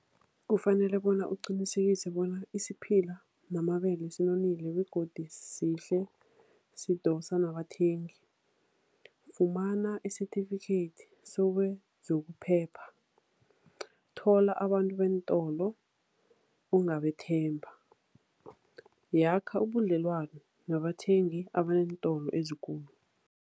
Kufanele bona uqinisekise bona isiphila namabele sinonile begodi sihle, sidosa nabathengi. Fumana isitifikhethi zokuphepha. Thola abantu beentolo ongabethemba. Yakha ubudlelwano nabathengi abaneentolo ezikulu.